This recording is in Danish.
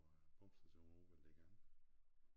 Pumpestation ovre ved Lægan